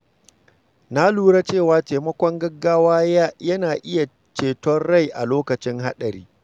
Na lura cewa taimakon gaggawa yana iya ceton rai a lokacin haɗari.